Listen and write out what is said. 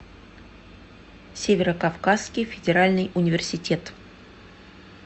северо кавказский федеральный университет